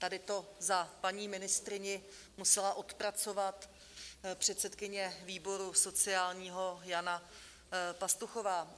Tady to za paní ministryni musela odpracovat předsedkyně výboru sociálního Jana Pastuchová.